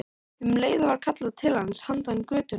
Um leið var kallað til hans handan götunnar.